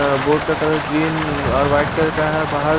अ board का colour green और white colour का है बाहर --